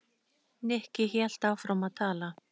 Nikki hélt áfram að tala.